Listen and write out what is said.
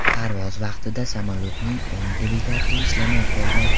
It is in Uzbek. Parvoz vaqtida samolyotning o‘ng dvigateli ishlamay qolgan.